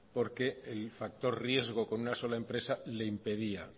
porque el factor riesgo con una sola empresa le impedía